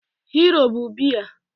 Hero bụ biya